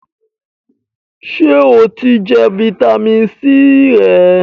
Sè o ti jẹ fitamisi C rẹ?